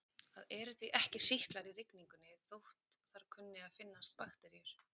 Það eru því ekki sýklar í rigningunni þótt þar kunni að finnast bakteríur.